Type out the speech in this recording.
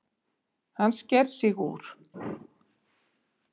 Hann sker sig úr.